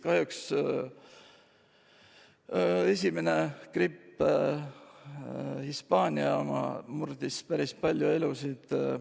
Kahjuks esimene gripp, Hispaania oma, murdis päris palju elusid.